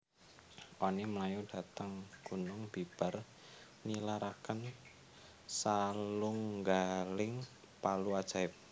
Oni mlayu dhateng gunung bibar nilaraken salunggaling palu ajaib